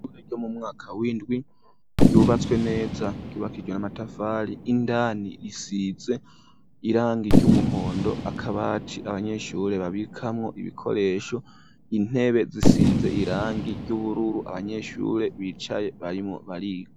Ishure ryo mu mwaka w'indwi ryubatswe neza, ryubakishijwe amatafari, indani risize irangi ry'umuhondo, akabati abanyeshure babikamwo ibikoresho, intebe zisize irangi ry'ubururu abanyeshure bicaye barimwo bariga.